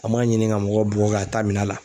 An man ɲini ka mɔgɔw bɔ ka taa minɛn a la.